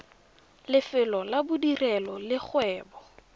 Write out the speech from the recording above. lefelo la bodirelo le kgwebo